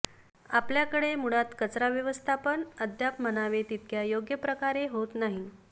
आपल्याकडे मुळात कचरा व्यवस्थापन अद्याप म्हणावे तितक्या योग्य प्रकारे होत नाही